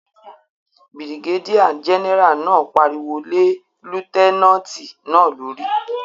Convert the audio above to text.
Birigédíà gẹ́nẹ́rà náà pariwo lé lútẹ́nàtì náà lórí